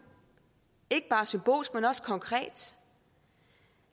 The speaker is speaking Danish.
ikke bare symbolsk men også konkret